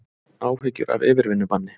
Áhyggjur af yfirvinnubanni